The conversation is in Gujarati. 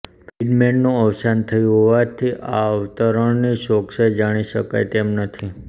ફ્રિડમેનનું અવસાન થયું હોવાથી આ અવતરણની ચોકસાઇ જાણી શકાય તેમ નથી